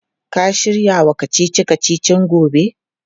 Ka shirya wa kacici-kacicin gobe?